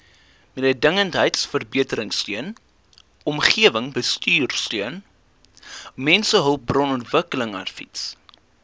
mededingendheidsverbeteringsteun omgewingsbestuursteun mensehulpbronontwikkelingsadvies